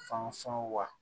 Fan sɔn wa